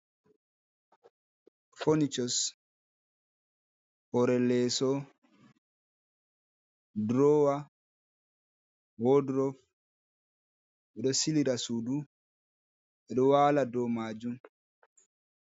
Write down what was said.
Phonychus, hoore leeso, droowa, wordrof, ɓe ɗo silira suudu, ɓe ɗo waala dow maajum.